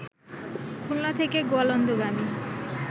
খুলনা থেকে গোয়ালন্দগামী